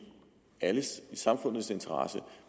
samfundets interesse